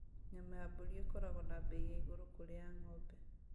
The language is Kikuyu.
Nyama ya mbũri ikoragwo na mbei ya igũrũ kũrĩ ya ng'ombe